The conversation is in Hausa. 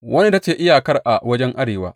Wannan ita ce iyakar a wajen arewa.